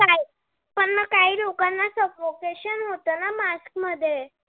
suffogation होत ना? mask मध्ये.